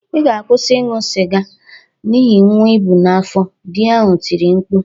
Ị ga-akwụsị ịṅụ sịga n'ihi nwa i bu n'afọ!" Di ahụ tiri mkpu